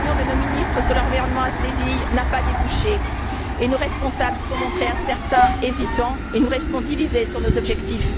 La réunion de nos ministres sur l'environnement à Séville n'a pas débouché, et nos responsables se sont montrés incertains, hésitants, et nous restons divisés sur nos objectifs.